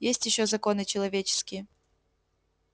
есть ещё законы человеческие